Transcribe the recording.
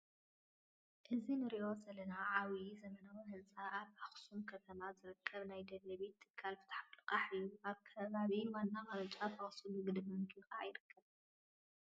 እዚ ንሪኦ ዘለና ዓብዪ ዘመናዊ ህንፃ ኣብ ኣኽሱም ከተማ ዝርከብ ናይ ደደቢት ትካል ፍትሓዊ ልቓሕን እዩ፡፡ ኣብ ከባቢ ዋና ቅርንጫፍ ኣኽሱም ንግዲ ባንኪ ከዓ ይርከብ፡፡